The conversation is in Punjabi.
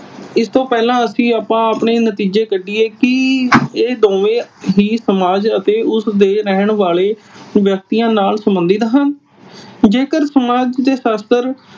ਇਸ ਤੋਂ ਪਹਿਲਾਂ ਅਸੀਂ ਆਪਾਂ ਨਤੀਜੇ ਕੱਢੀਏ ਕੀ ਇਹ ਦੋਵੇਂ ਹੀ ਸਮਾਜ ਤੇ ਉਸ ਦੇ ਰਹਿਣ ਵਾਲੇ ਵਿਅਕਤੀਆਂ ਨਾਲ ਸੰਬੰਧਤ ਹਨ। ਜੇਕਰ ਸਮਾਜ ਦੇ ਸ਼ਾਸਤਰ